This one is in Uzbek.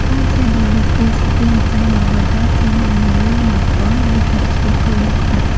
Fransiyadagi prezident saylovida Emmanyuel Makron yetakchilik qilmoqda.